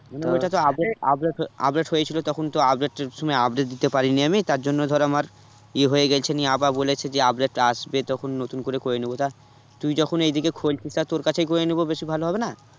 update update হয়েছিল তখন তো update এর সময় update দিতে পারিনি আমি তার জন্য ধর আমার ইয়ে হয়ে গেছে নিয়ে আবার বলেছে যে update টা আসবে তখন নতুন করে করে নেবো তা তুই যখন এইদিকে খুলছিস তা তোর কাছেই করে নেবো বেশি ভালো হবেনা?